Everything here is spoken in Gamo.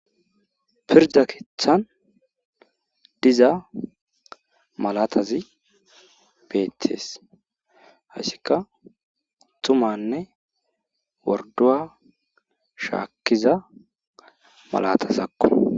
Pirde keeththan diza malatazi beetes. hayssikka tummanne worduwa shaaiya malatazakko.